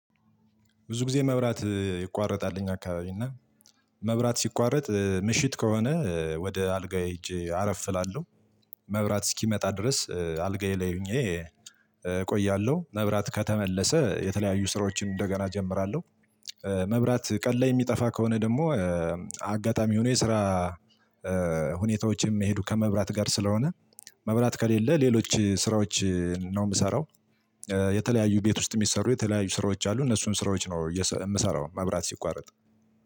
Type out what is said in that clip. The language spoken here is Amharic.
ብዙ ጊዜ መብራት ይቋረጣል እኛ አካባቢ እና መብራት ሲቋረጥ ምሽት ከሆነ ወደ አልጋዬ ሄጄ አረፍ እላለሁ። መብራት እስኪመጣ ድረስ አልጋዬ ላይ ሆኜ ቆያለሁ መብራት ከተመለሰ የተለያዩ ስራዎችን እንደገና እጀምራለሁ። መብራት ቀን የሚጠፋ ከሆነ ደግሞ አጋጣሚ ሆኖ የስራ ሁኔታዎችም ሄዱ ከመብራት ጋር ስለሆነ መብራት ከሌለ ሌሎች ስራዎች ነው የምሰራው። የተለያዩ ቤት ውስጥ የሚሰሩ የተለያዩ ስራዎች አሉ እነሱን ስራዎች ነው የምሰራው መብራት ሲቋረጥ